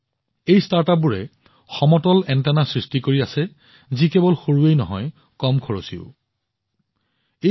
এই ষ্টাৰ্টআপে এনে এক সমতল এণ্টেনাৰ সৃষ্টি কৰি আছে যি কেৱল সৰুৱেই নহয় বৰঞ্চ সেইবোৰৰ ব্যয়ও যথেষ্ট কম হব